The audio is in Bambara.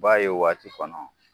B'a ye o waati kɔnɔ